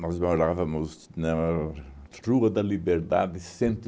Nós morávamos na Rua da Liberdade cento e